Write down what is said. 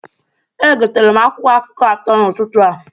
Egotere m akwụkwọ akụkọ atọ n'ụtụtụ a.